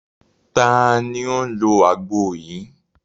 Ta ni ó ń lo àgbo yìí?